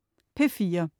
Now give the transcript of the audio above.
P4: